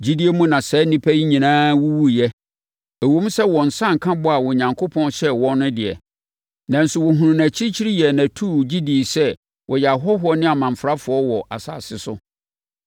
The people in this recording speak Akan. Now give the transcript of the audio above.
Gyidie mu na saa nnipa yi nyinaa wuwuiɛ. Ɛwom sɛ wɔn nsa anka bɔ a Onyankopɔn hyɛɛ wɔn no deɛ, nanso wɔhunuu no akyirikyiri yɛɛ no atuu, gye dii sɛ wɔyɛ ahɔhoɔ ne amamfrafoɔ wɔ asase so.